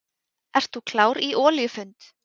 Ert þú klár í olíufund?